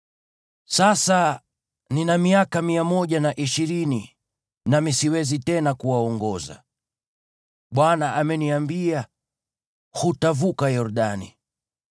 “Sasa nina miaka mia moja na ishirini nami siwezi tena kuwaongoza. Bwana ameniambia, ‘Hutavuka Yordani.’